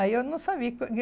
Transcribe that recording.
Aí eu não sabia.